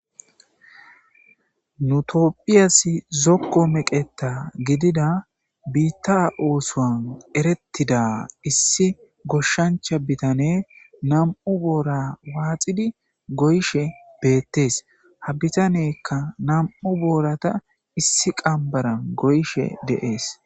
Nu tophiyas zoko meqeta gidida biita osuwa eretida issi goshancha bitaney nam'u boora waxid goyishe betes. Ha bitaneyka nam'u boorata issi qambaran goyishe de'es.